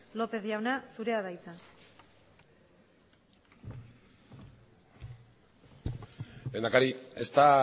lópez jauna zurea da hitza lehendakari esta